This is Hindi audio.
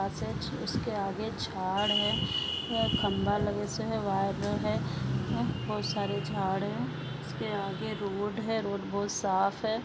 उसके आगे झाड है एक खंबा लगेसो है बहुत सारे झाड है उसके आगे रोड है रोड बहुत साफ है।